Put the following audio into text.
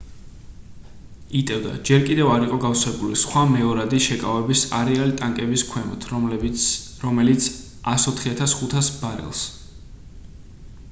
იტევდა ჯერ კიდევ არ იყო გავსებული სხვა მეორადი შეკავების არეალი ტანკების ქვემოთ რომელიც 104,500 ბარელს